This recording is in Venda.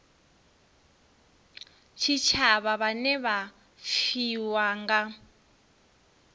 tshitshavha vhane vha pfiwa nga